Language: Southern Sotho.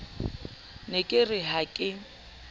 ne ke re ha ke